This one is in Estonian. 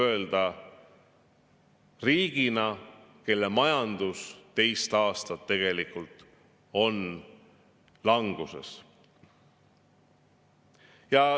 Ja seda riigina, kelle majanduse kohta tuleb kahjuks öelda, et see on teist aastat languses.